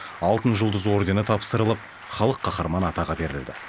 алтын жұлдыз ордені тапсырылып халық қаһарманы атағы берілді